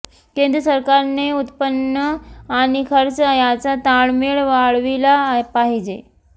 केंद्र सरकारने उत्पन्न आणि खर्च याचा ताळमेळ वाढविला पाहिजे